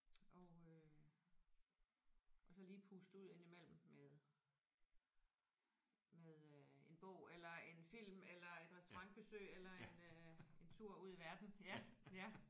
Og øh og så lige puste ud indimellem med med øh en bog eller en film eller et restaurantbesøg eller en øh en tur ud i verden ja ja